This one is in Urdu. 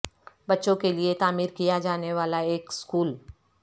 بچوں کے لیے تعمیر کیا جانے والا ایک سکول